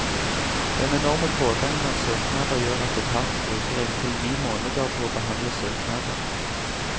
Den enorme pågangen av søknader gjør at etaten bruker inntil ni måneder på å behandle søknader.